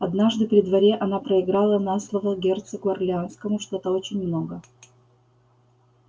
однажды при дворе она проиграла на слово герцогу орлеанскому что-то очень много